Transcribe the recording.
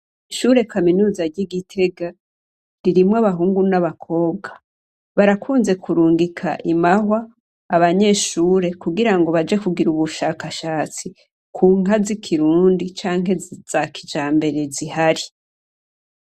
Ishure kaminuza ry'i Gitega, ririmwo abahungu n'abakobwa. Barakunze kurungika i Mahwa abanyeshure kugira ngo baje kugira ubushakashatsi ku nka z'ikirundi canke za kijambere ziharii.